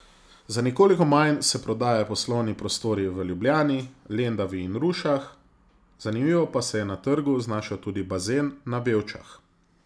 Za nekoliko manj se prodajajo poslovni prostori v Ljubljani, Lendavi in Rušah, zanimivo pa se je na trgu znašel tudi bazen na Vevčah.